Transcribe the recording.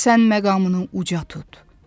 Sən məqamını uca tut.